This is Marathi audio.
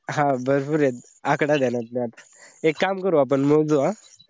हा भरपुरेत आकडा ध्यानात नई आता. एक काम करू आपण मोजू आह.